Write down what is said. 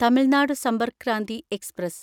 Tamil Nadu Sampark Kranti express